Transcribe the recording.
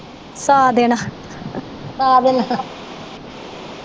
ਸਾ ਦਿਨ ਸਾ ਦਿਨ